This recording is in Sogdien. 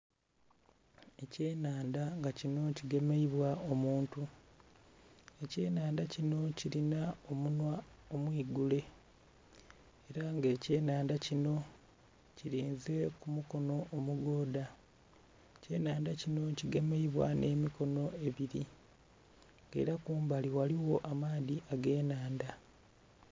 Ekye nhandha nga kinho ki gemeibwa omuntu, ekye nhandha kinho kilinha omunhwa omwigule era nga ekye nhandha kinho kilinha ku mukonho omugodha. Ekye nhandha kinho ki gemeibwa nhe mikonho ebiri nga era kumbali ghaligho amaadhi ge nhandha.